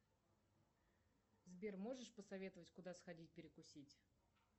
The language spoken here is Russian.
сбер можешь посоветовать куда сходить перекусить